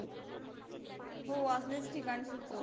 हो असलेच ठिकाण सुचवू